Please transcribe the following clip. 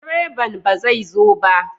Direban ba zai zo ba?